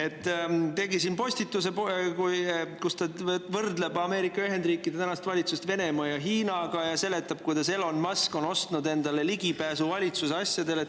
Ta tegi postituse, kus ta võrdleb Ameerika Ühendriikide tänast valitsust Venemaa ja Hiina ning seletab, kuidas Elon Musk on ostnud endale ligipääsu valitsuse asjadele.